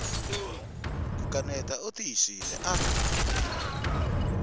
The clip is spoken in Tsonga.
ku kaneta u tiyisile a